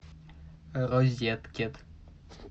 розеткед